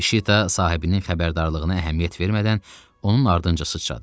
Şita sahibinin xəbərdarlığına əhəmiyyət vermədən onun ardınca sıçradı.